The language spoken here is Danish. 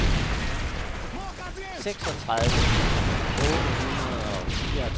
seksogtredive tusind otte hundrede og fireogtredive